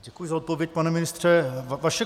Děkuji za odpověď, pane ministře.